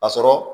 A sɔrɔ